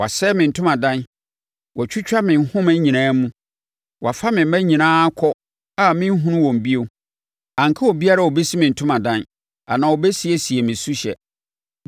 Wɔasɛe me ntomadan; wɔatwitwa ne nhoma nyinaa mu. Wɔafa me mma nyinaa kɔ a merenhunu wɔn bio; anka obiara a ɔbɛsi me ntomadan anaa ɔbɛsiesie me suhyɛ.